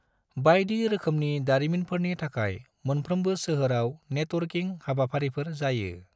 बायदि रोखोमनि दारिमिनफोरनि थाखाय मोनफ्रोमबो सोहोराव नेटवर्किं हाबाफारिफोर जायो।